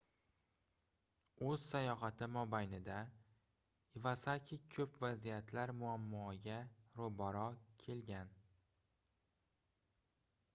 oʻz sayohati mobaynida ivasaki koʻp vaziyatlar muammoga roʻbaroʻ kelgan